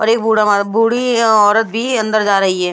और एक बूढ़ा मार् बूढ़ी है औरत भी अंदर जा रही है।